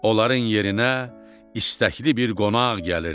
Onların yerinə istəkli bir qonaq gəlirdi.